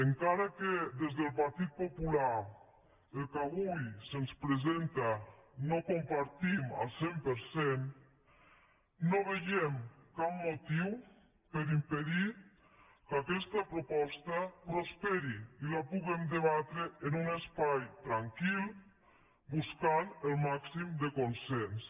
encara que des del partit popular el que avui se’ns presenta no ho compartim al cent per cent no veiem cap motiu per a impedir que aquesta proposta prosperi i la puguem debatre en un espai tranquil buscant el màxim de consens